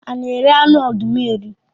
A na eri anụ ọdụm eri?